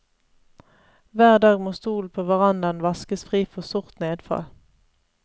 Hver dag må stolen på verandaen vaskes fri for sort nedfall.